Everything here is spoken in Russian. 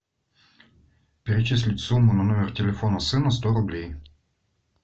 перечислить сумму на номер телефона сына сто рублей